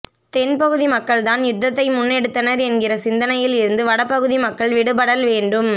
தென்பகுதி மக்கள்தான் யுத்தத்தை முன்னெடுத்தனர் என்கிற சிந்தனையில் இருந்து வட பகுதி மக்கள் விடுபடல் வேண்டும்